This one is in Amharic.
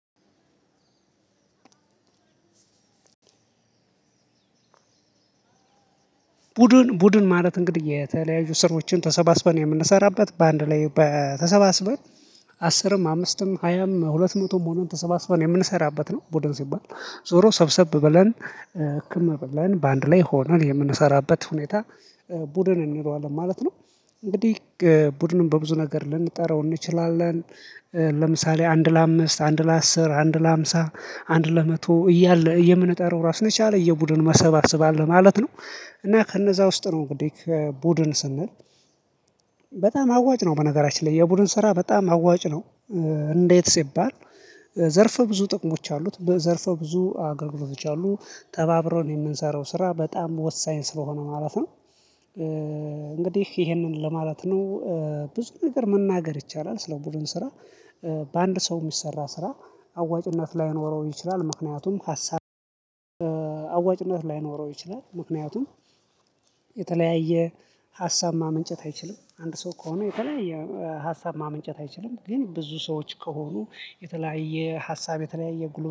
ቡድን ማለት እንግዲህ የተለያየ ስራችንን ተሰባስበን የምንሰራበት በአንድ ላይ በተሰባስበን አስርም አምስትም ሀያም ሁለት መቶም ሆነን ተሰባስበን የምንሰራበት ነው። ቡድን ሲባል ዞሮ ሰብሰብ በለን ህክም ህክምና በለን በአንድ ላይ ሆነን የምንሰራበት ሁኔታ ቡድን እንለዋለን ማለት ነው። እንግዲህ ቡድኑን በብዙ ነገር ልንጠራው እንችላለን። ለምሳሌ አንድ ለአምስት አንድ ለአስር አንድ ለሃምሳ አንድ ለመቶ እያለ የምንጠራው ራሱ የቻለ የቡድን መሰብሰብ አለ ማለት ነው። እና ከነዛ ውስጥ ነው እንግዲህ ከቡድን ስንል በጣም አዋጭ ነው በነገራችን ላይ የቡድን ስራ በጣም አዋጭ ነው። እንዴት ሲባል ዘርፈ ብዙ ጥቅሞች አሉት ዘርፈው ብዙ አገልግሎቶች አሉ ተባብሮን የምንሰራው ስራ በጣም ወሳኝ ስለሆነ ማለት ነው። እንግዲህ ይሄንን ለማለት ነው። ብዙ ነገር መናገር ይቻላል ስለ ቡድን ስራ። በአንድ ሰው የሚሰራ ስራ አዋጭነት ላይኖረው ይችላል ምክንያቱም ሀሳብ አዋጭነት ላይኖረው ይችላል። ምክንያቱም የተለያየ ሀሳብ ማመንጨት አይችልም አንድ ሰው ከሆነ የተለያየ ሀሳብ ማመንጨት አይችልም ግን ብዙ ሰዎች ከሆኑ የተለያየ ሀሳብ የተለያየ ጉልበት